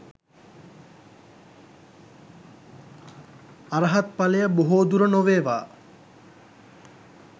අරහත් ඵලය බොහෝදුර නොවේවා